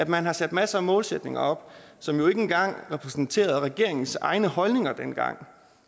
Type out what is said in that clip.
man har sat masser af målsætninger op som ikke engang repræsenterede regeringens egne holdninger dengang